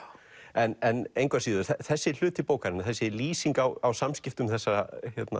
en engu að síður þessi hluti bókarinnar þessi lýsing á á samskiptum þessara